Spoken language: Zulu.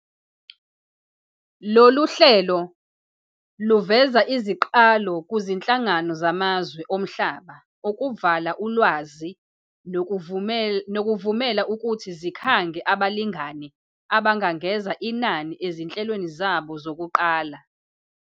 Lolu hlelo luveza iziqalo kuzinhlangano zamazwe omhlaba ukuvala ulwazi kanye nokuzivumela ukuthi zikhange abalingani abangangeza inani ezinhlelweni zabo zokuqala